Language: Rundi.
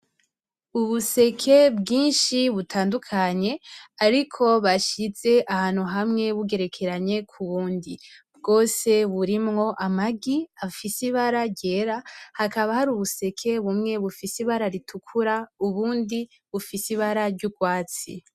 Ubuseke bwinshi butandukanye ariko bashize ahantu hamwe bugerekeranye ku bundi, bwose burimwo amagi afise ibara ryera hakaba hari ubuseke bumwe bufise ibara ritukura ubundi bufise ibara ry'urwatsi.